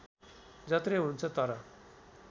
जत्रै हुन्छ तर